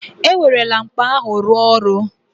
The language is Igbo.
E werela mkpa ahụ rụọ ọrụ